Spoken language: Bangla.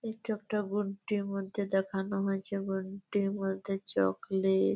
এইটা একটা গুড ডে -এর মধ্যে দেখানো হয়েছে গুড ডে -এর মধ্যে চকলেট ।